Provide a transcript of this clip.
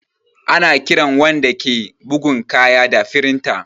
Ana kiran wanda ke bugan kaya da firinta